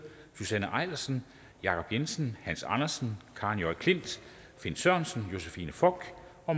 susanne eilersen jacob jensen hans andersen karen j klint finn sørensen josephine fock